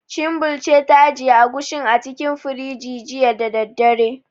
Chinbil ce ta ajiye Agushin a cikin firinji, jiya da daddare.